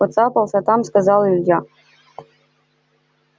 поцапался там сказал илья